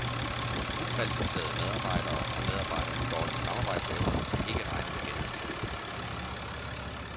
Ukvalificerede medarbejdere og medarbejdere med dårlige samarbejdsevner skal ikke regne med genansættelse.